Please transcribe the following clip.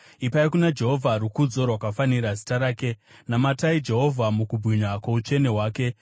Ipai kuna Jehovha rukudzo rwakafanira zita rake; namatai Jehovha mukubwinya kwoutsvene hwake.